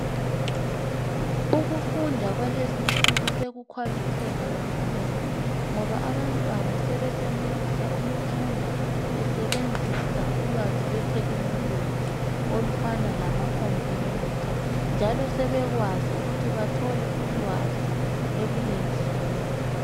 Ukufunda kwalezinsuku sokukhwabitheka kakhulu ngoba abantwana sebesenelisa ukufunda besebenzisa ulwazi lwethekhinoloji olufana lamakhompiyutha njalo sebekwazi ukuthi bathole ulwazi ebulenjini.